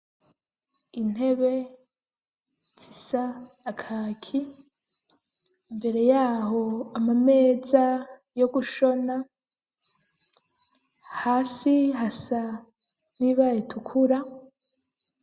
Intebe zisa na kaki, imbere y'aho amameza yo gushona, hasi hasa n'ibara ritukura.